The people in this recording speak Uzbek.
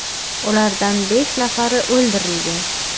Ulardan besh nafari o‘ldirilgan.